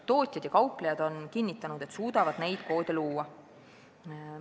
Tootjad ja kauplejad on kinnitanud, et suudavad neid koode luua.